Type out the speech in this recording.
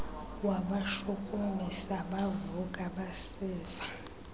wabashukumisa bavuka basiva